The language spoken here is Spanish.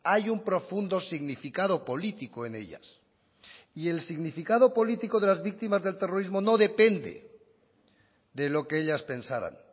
hay un profundo significado político en ellas y el significado político de las víctimas del terrorismo no depende de lo que ellas pensaran